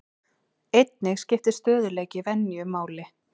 Einnig skiptir stöðugleiki venju máli.